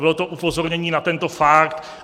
Bylo to upozornění na tento fakt.